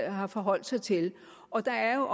har forholdt sig til og der er